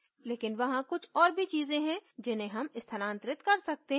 लेकिन वहाँ कुछ और भी चीजें हैं जिन्हे हम स्थानांतरित कर सकते हैं